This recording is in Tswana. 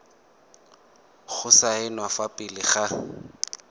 go saenwa fa pele ga